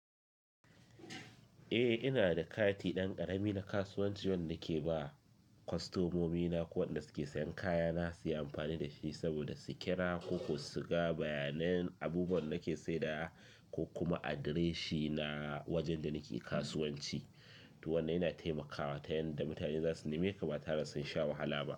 Eh, ina da kati ɗan ƙarami na kasuwanci wanda ke ba kostomomina ko wadanda suke sayan kaya na, su yi amfani da shi saboda su kira ko su ga bayanan abubuwan nake sayar da ko kuma adireshina wajen da nake kasuwanci. To wannan yana taimakawa ta yadda mutane za su nimce ka ba tare da sun sha wahala ba.